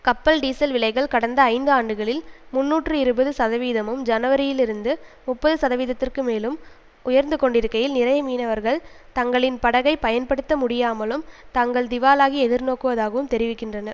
கப்பல் டீசல் விலைகள் கடந்த ஐந்து ஆண்டுகளில் முன்னூற்று இருபது சதவீதமும் ஜனவரியிலிருந்து முப்பது சதவீதத்திற்கு மேலும் உயர்ந்து கொண்டிருக்கையில் நிறைய மீனவர்கள் தங்களின் படகை பயன்படுத்தமுடியாமலும் தாங்கள் திவாலாகி எதிர்நோக்குவதாகவும் தெரிவிக்கின்றனர்